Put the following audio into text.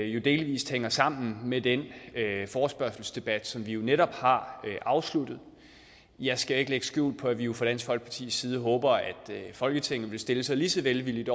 jo delvis hænger sammen med den forespørgselsdebat som vi netop har afsluttet jeg skal ikke lægge skjul på at vi vi fra dansk folkepartis side håber at folketinget vil stille sig lige så velvilligt